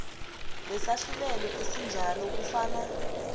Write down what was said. ngesahlulelo esinjalo kufana